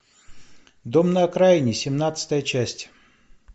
дом на окраине семнадцатая часть